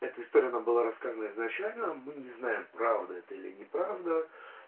эта история она была рассказана изначально мы не знаем правда это или неправда